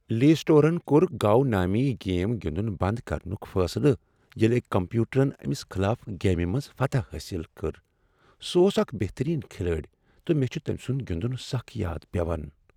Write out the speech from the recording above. لی سیڈولن کوٚر "گو" نٲمی گیم گنٛدن بنٛد کرنک فیصلہٕ ییٚلہ أکۍ کمپیوٹرن أمس خلاف گیمہ منٛز فتح حٲصل کٔر۔ سہ اوس اکھ بہترین کھلٲڑۍ تہٕ مےٚ چھ تٔمۍ سند گِندن سخ یاد یوان ۔